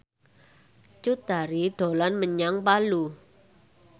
Cut Tari dolan menyang Palu